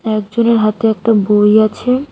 একজনের হাতে একটা বই আছে।